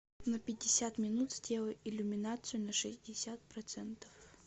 на пятьдесят минут сделай иллюминацию на шестьдесят процентов